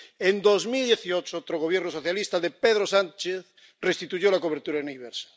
En 2018, otro Gobierno socialista —de Pedro Sánchez— restituyó la cobertura universal.